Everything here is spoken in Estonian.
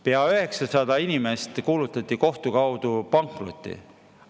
Pea 900 inimest kuulutati kohtu kaudu pankrotis olevaks.